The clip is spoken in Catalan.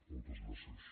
moltes gràcies